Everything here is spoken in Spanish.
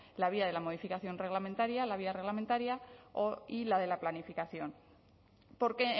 la vía de la modificación reglamentaria la vía reglamentaria y la de la planificación porque